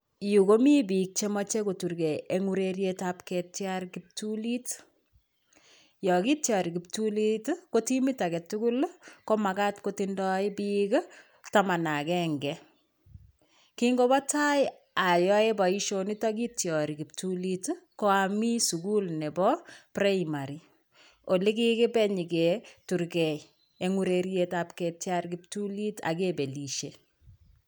Yu komi piik chemoche kuturgei eng urerietab ketiar kiptulit, yo kitiori kiptulit ii, ko timit age tugul ii komakat kotindoi piik ii taman akenge. Kingobotai ayae boisionitok kitiori kiptulit ii ko ami sukul nebo primary, ole kikibe nyiketurgei eng urerietab ketiar kiptulit ak kebelishe.